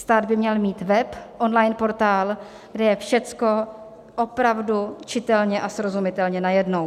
Stát by měl mít web, online portál, kde je všechno opravdu čitelně a srozumitelně najednou.